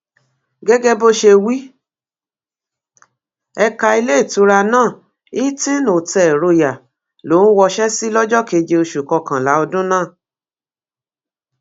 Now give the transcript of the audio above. gẹgẹ bó ṣe wí ẹka iléetura náà hilton hotel royal lòún wọṣẹ sí lọjọ keje oṣù kọkànlá ọdún náà